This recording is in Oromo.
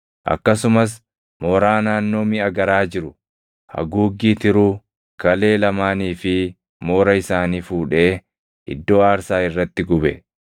Akkasumas moora naannoo miʼa garaa jiru, haguuggii tiruu, kalee lamaanii fi moora isaanii fuudhee iddoo aarsaa irratti gube.